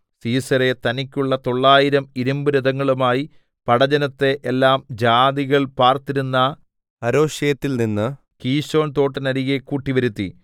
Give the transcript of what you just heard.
സീസെരാ തനിക്കുള്ള തൊള്ളായിരം ഇരിമ്പുരഥങ്ങളുമായി പടജ്ജനത്തെ എല്ലാം ജാതികൾ പാർത്തിരുന്ന ഹരോശെത്തിൽനിന്നു കീശോൻ തോട്ടിന്നരികെ കൂട്ടിവരുത്തി